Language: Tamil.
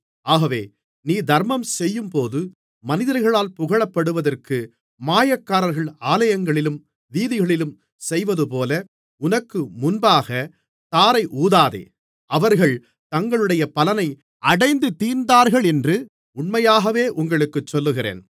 ஆகவே நீ தர்மம் செய்யும்போது மனிதர்களால் புகழப்படுவதற்கு மாயக்காரர்கள் ஆலயங்களிலும் வீதிகளிலும் செய்வதுபோல உனக்கு முன்பாகத் தாரை ஊதாதே அவர்கள் தங்களுடைய பலனை அடைந்து தீர்ந்தார்களென்று உண்மையாகவே உங்களுக்குச் சொல்லுகிறேன்